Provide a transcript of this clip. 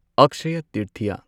Akshaya Tritiya